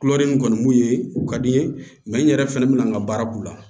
Kuloden nin kɔni mun ye u ka di n ye n yɛrɛ fɛnɛ bɛna n ka baara k'u la